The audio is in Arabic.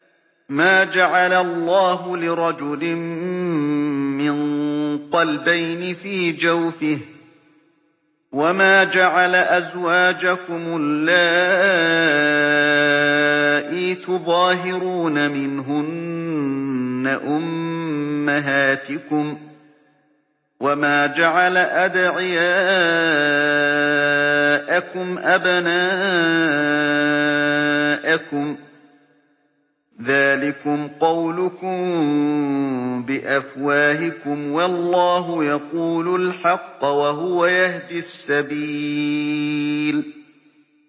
مَّا جَعَلَ اللَّهُ لِرَجُلٍ مِّن قَلْبَيْنِ فِي جَوْفِهِ ۚ وَمَا جَعَلَ أَزْوَاجَكُمُ اللَّائِي تُظَاهِرُونَ مِنْهُنَّ أُمَّهَاتِكُمْ ۚ وَمَا جَعَلَ أَدْعِيَاءَكُمْ أَبْنَاءَكُمْ ۚ ذَٰلِكُمْ قَوْلُكُم بِأَفْوَاهِكُمْ ۖ وَاللَّهُ يَقُولُ الْحَقَّ وَهُوَ يَهْدِي السَّبِيلَ